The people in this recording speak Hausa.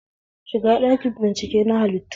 Shiga ɗakin bincike na halittu